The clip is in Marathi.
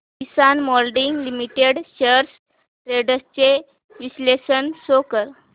किसान मोल्डिंग लिमिटेड शेअर्स ट्रेंड्स चे विश्लेषण शो कर